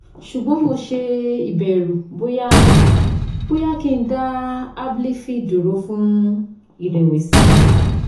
ṣùgbọ́n mo ṣe ìbẹ̀rù óyá bóyá kí n dá abilify dúró fún ìrẹ̀wẹ̀sì